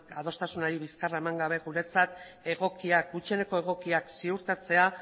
adostasunari bizkarra eman gabe guretzat gutxieneko egokiak ziurtatzea